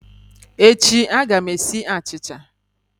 Echi a ga m esi achicha